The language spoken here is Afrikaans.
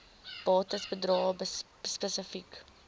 bates bedrae spesifiek